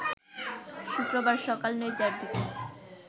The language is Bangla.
শুক্রবার সকাল ৯ টার দিকে